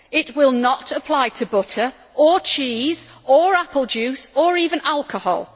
It will not apply to butter or cheese or apple juice, or even alcohol.